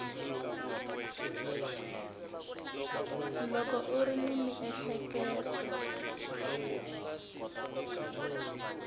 loko u ri ni miehleketo